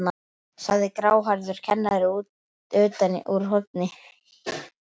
sagði gráhærður kennari utan úr horni.